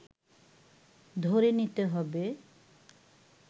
ধরে নিতে হবে